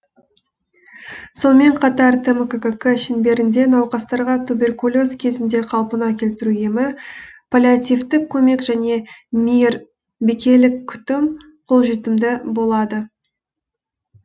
сонымен қатар тмккк шеңберінде науқастарға туберкулез кезінде қалпына келтіру емі паллиативтік көмек және мейірбикелік күтім қолжетімді болады